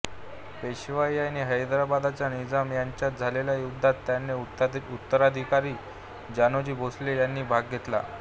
पेशवाई आणि हैदराबादच्या निजाम यांच्यात झालेल्या युद्धात त्यांचे उत्तराधिकारी जानोजी भोसले यांनी भाग घेतला